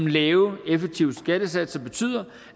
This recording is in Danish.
lave effektive skattesatser betyder